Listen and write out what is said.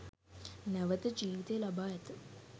නැවත ජීවිතය ලබා ඇත.